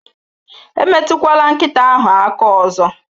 Emetụkwala nkịta ahụ aka ọzọ